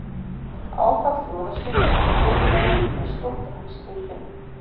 Áfall í Ólafsvík- Fyrirliðinn með stórt æxli í kviðnum